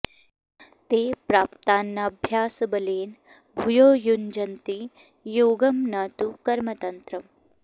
ते प्राक्तनाभ्यासबलेन भूयो युञ्जन्ति योगं न तु कर्मतन्त्रम्